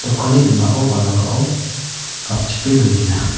dokanni ning·ao balangao gapchipe donenga.